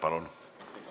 Palun!